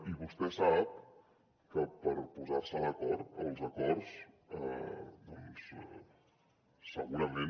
i vostè sap que per posar se d’acord els acords doncs segurament